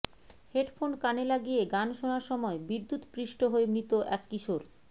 headphone কানে লাগিয়ে গান শোনার সময় বিদ্যুৎ পৃষ্ঠ হয়ে মৃত এক কিশোর